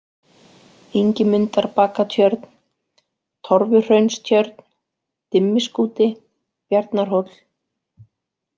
Ingimundarbakatjörn, Torfuhraunstjörn, Dimmiskúti, Bjarnarhóll